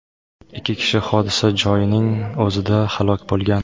Ikki kishi hodisa joyining o‘zida halok bo‘lgan.